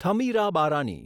Thamirabarani